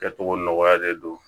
Kɛcogo nɔgɔyalen don